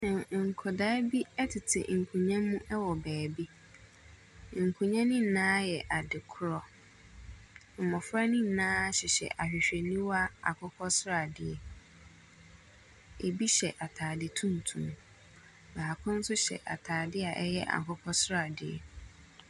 N…nkwasaa bi tete nkonnwa mu wɔ baabi. Nkonnwa no nyinaa yɛ adekorɔ. Mmɔfra no nyinaa hyehyɛ ahwehwɛniwa akokɔsradeɛ. Ɛbi hyɛ atade tuntum. Baako nso hyɛ atadeɛ a ɛyɛ akokɔsradeɛ.